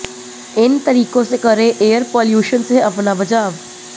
इन तरीकों से करें एयर पोल्यूशन से अपना बचाव